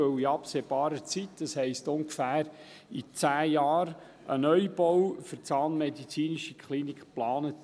Denn in absehbarer Zeit, das heisst, in ungefähr zehn Jahren, ist ein Neubau für die ZMK Bern geplant.